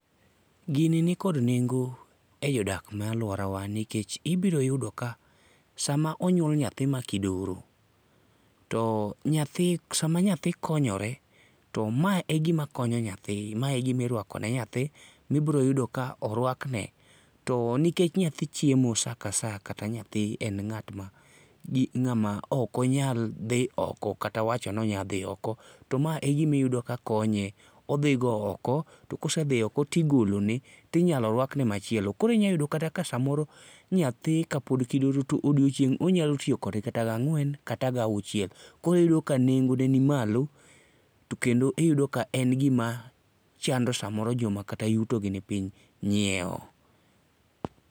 Gini nikod nengo e jodak ma aluorawa nikech ibiro yudo ka sama onyuol nyathi makidoro, to nyathi sama nyathi konyore to ma egima konyo nyathi ma e gima iruako ne nyathi ma ibiro yudo ka oruakne, to nikech nyathi echiemo saa ka saa, kata nyathi en ng'at gi ng'ama ok onyal dhi oko kata wacho ni onyalo dhi oko to ma egima iyudo ka konye. Odhigo oko to ka osedhi oko to igolone to inyalo iruakone machielo. Koro inyalo yudo kata ka samoro nyathi kapod kidoro to odiechieng' onyalo tiyo kode kata gang'wen kata gauchiel koro iyudo ka nengone ni malo kendo iyudo ka en gima samoro chando joma kata yuto gi nimipiny nyiewo.